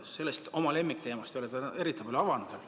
Seda oma lemmikteemat ei ole te eriti palju avanud veel.